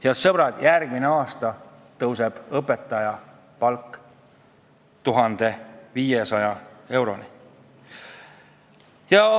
Head sõbrad, järgmine aasta tõuseb õpetaja keskmine palk 1500 euroni.